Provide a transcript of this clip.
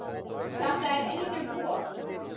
Þetta er einum of,